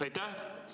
Aitäh!